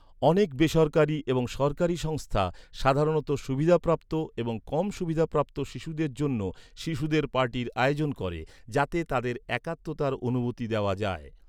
অনেক বেসরকারী এবং সরকারী সংস্থা সাধারণত সুবিধাপ্রাপ্ত এবং কম সুবিধাপ্রাপ্ত শিশুদের জন্য শিশুদের পার্টির আয়োজন করে যাতে তাদের একাত্মতার অনুভূতি দেওয়া যায়।